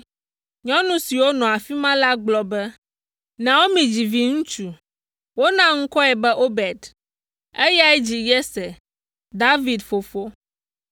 Nyɔnu siwo nɔ afi ma la gblɔ be, “Naomi dzi viŋutsu.” Wona ŋkɔe be Obed. Eyae dzi Yese, David fofo.